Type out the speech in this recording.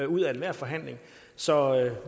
ud af enhver forhandling så